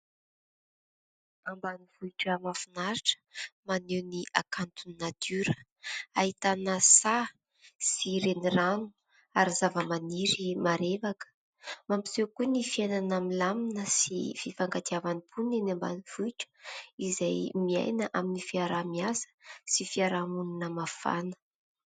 Ambanivohitra mahafinaritra maneho ny hakanton'ny natiora ahitana saha sy renirano ary zava-maniry marevaka mampiseho koa ny fiainana milamina sy fifankatiavan'ny mponina eny ambanivohitra, izay miaina amin'ny fiaraha-miasa sy fiarahamonina mafana.